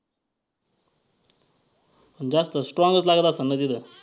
पण जास्त strong च लागत असन ना तिथं?